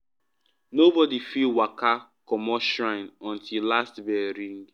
nobody fit waka commot shrine until last bell ring.